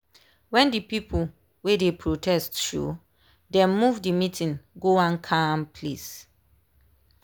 when the people wey dey protest showdem move the meeting go one calm place.